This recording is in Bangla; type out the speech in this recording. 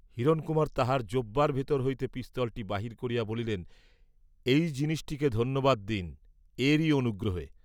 হিরণকুমার তাঁহার জোব্বার ভিতর হইতে পিস্তলটি বাহির করিয়া বলিলেন এই জিনিষটিকে ধন্যবাদ দিন, এরই অনুগ্রহে।